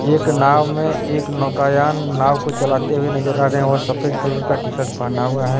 एक नाव में एक नौकायान नाव को चलाते हुए नजर आ रहे हैं और सफेद कलर का टी शर्ट पहना हुआ है।